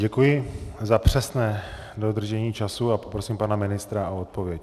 Děkuji za přesné dodržení času a poprosím pana ministra o odpověď.